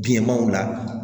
Bilemanw la